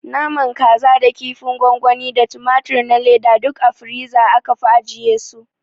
Naman kasa da kinfin gwangwani da tumatur na leda duk a firiza aka fi ajiye su